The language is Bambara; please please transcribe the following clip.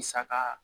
Saga